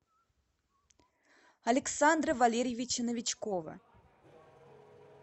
александра валериевича новичкова